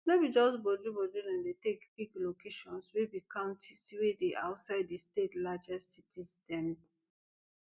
no be just bojuboju dem take pick di locations wey be counties wey dey outside di state largest cities dem